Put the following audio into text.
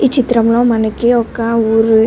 ఈ చిత్రం లో మనకి ఒక ఊరు --